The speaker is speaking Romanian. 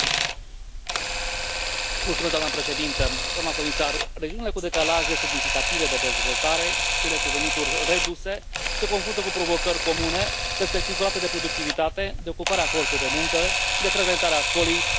Doamnă președintă, doamnă comisar, regiunile cu decalaje semnificative de dezvoltare și cele cu venituri reduse se confruntă cu provocări comune, respectiv rate de productivitate, de ocupare a forței de muncă și de frecventare a școlii mai scăzute decât în alte regiuni.